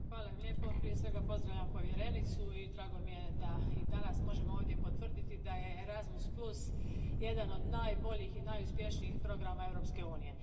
Poštovani predsjedavajući, prije svega pozdravljam povjerenicu i drago mi je da i danas možemo ovdje potvrditi da je Erasmus jedan od najboljih i najuspješnijih programa Europske unije.